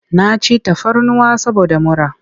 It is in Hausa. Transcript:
Na ci tafarnuwa saboda mura.